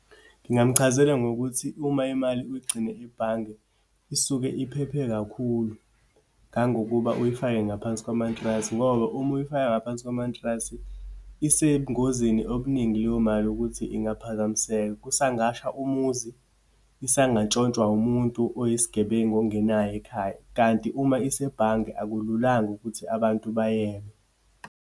Ngingamchazela ngokuthi uma imali uyigcine ibhange, isuke iphephe kakhulu ngangokuba uyifake ngaphansi kwamantrasi. Ngoba uma uyifake ngaphansi kwamantrasi, isebungozini obuningi leyo mali yokuthi ingaphazamiseka. Kusangasha umuzi, isangatshontshwa umuntu oyisigebengu ongenayo ekhaya. Kanti uma isebhange, akululanga ukuthi abantu bayebe.